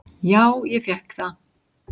"""Já, ég fékk það."""